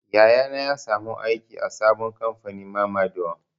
Yaya na ya samu aiki a sabon kamfanin mamador.